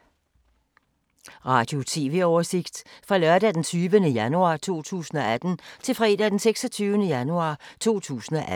Radio/TV oversigt fra lørdag d. 20. januar 2018 til fredag d. 26. januar 2018